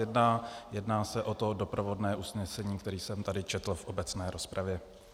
Jedná se o to doprovodné usnesení, které jsem tady četl v obecné rozpravě.